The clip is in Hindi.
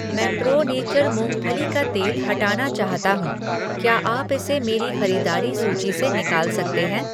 मैं प्रो नेचर मूंगफली का तेल हटाना चाहता हूँ, क्या आप इसे मेरी खरीदारी सूची से निकाल सकते हैं?